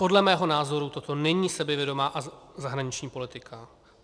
Podle mého názoru toto není sebevědomá zahraniční politika.